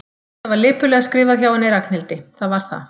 Já, já, þetta var lipurlega skrifað hjá henni Ragnhildi, það var það.